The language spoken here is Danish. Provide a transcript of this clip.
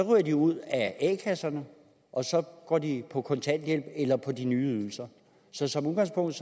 ryger de ud af a kasserne og så går de på kontanthjælp eller på de nye ydelser så som udgangspunkt